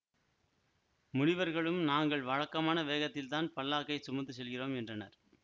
முனிவர்களும் நாங்கள் வழக்கமான வேகத்தில்தான் பல்லாக்கை சுமந்து செல்கிறோம் என்றனர்